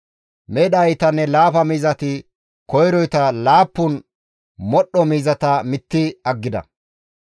Medha iitanne laafa miizati koyroyta laappun modhdho miizata mitti aggida.